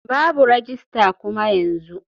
Babu rajistar kuma yanzu.